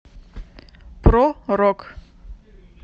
про рок